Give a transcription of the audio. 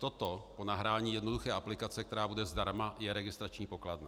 Toto po nahrání jednoduché aplikace, která bude zdarma, je registrační pokladna.